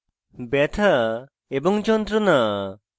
ব্যথা এবং যন্ত্রনা